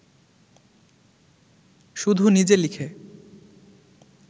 শুধু নিজে লিখে